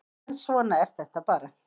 En svona er þetta bara